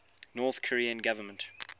north korean government